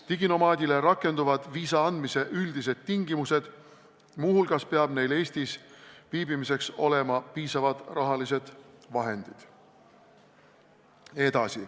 Diginomaadidele rakenduvad viisa andmise üldised tingimused, muu hulgas peab neil Eestis viibimiseks olema piisavalt rahalisi vahendeid.